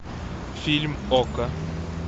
фильм окко